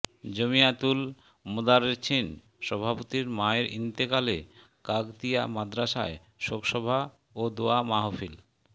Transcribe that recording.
জমিয়াতুল মোদার্রেছীন সভাপতির মায়ের ইন্তেকালে কাগতিয়া মাদ্রাসায় শোকসভা ও দোয়া মাহফিল